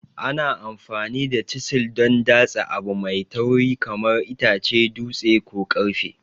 Ana amfani da chisil don datse abu mai tauri kamar itace, dutse, ko ƙarfe.